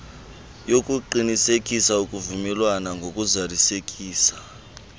yokuqinisekisa ukuvumelana ngokuzalisekiswa